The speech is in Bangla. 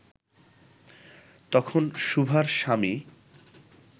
তখন সুভার স্বামী